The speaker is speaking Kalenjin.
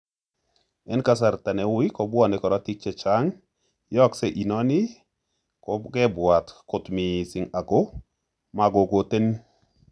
En kasrta neui, kopwone korotik chechang yoogse inoni kokwepwat kot missing ago magokotenin.